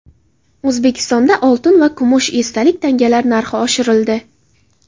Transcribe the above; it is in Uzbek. O‘zbekistonda oltin va kumush esdalik tangalar narxi oshirildi.